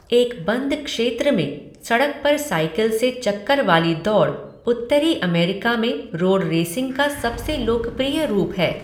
एक बंद क्षेत्र में सड़क पर साइकिल से चक्कर वाली दौड़ उत्तरी अमेरिका में रोड रेसिंग का सबसे लोकप्रिय रूप है।